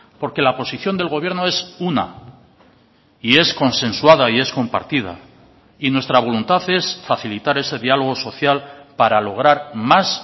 porque la posición del gobierno es una y es consensuada y es compartida y nuestra voluntad es facilitar ese diálogo social para lograr más